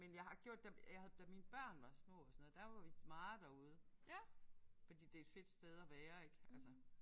Men jeg har gjort det jeg havde da mine børn var små og sådan noget der var vi meget derude. Fordi det er et fedt sted at være ik altså